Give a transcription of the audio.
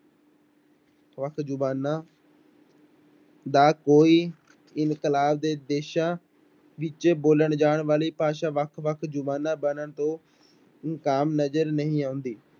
ਵੱਖ ਜ਼ੁਬਾਨਾਂ ਦਾ ਕੋਈ ਦੇ ਦੇਸਾਂ ਵਿੱਚ ਬੋਲਣ ਜਾਣ ਵਾਲੀ ਭਾਸ਼ਾ ਵੱਖ ਵੱਖ ਜ਼ੁਬਾਨਾਂ ਬਣਨ ਤੋਂ ਇਨਕਾਮ ਨਜ਼ਰ ਨਹੀਂ ਆਉਂਦੀ।